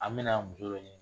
An me na muso dɔ ɲini